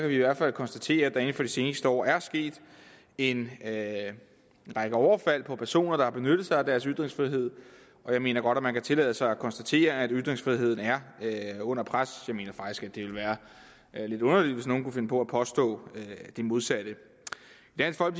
vi i hvert fald konstatere at der inden for de seneste år er sket en række overfald på personer der har benyttet sig af deres ytringsfrihed og jeg mener godt at man kan tillade sig at konstatere at ytringsfriheden er under pres jeg mener faktisk at det ville være lidt underligt hvis nogen kunne finde på at påstå det modsatte